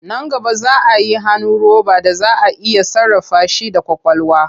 Nan gaba za a yi hannu roba da za a iya sarrafa shi da ƙwaƙwalwa.